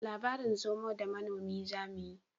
Labarin zomo da manomi zamuyi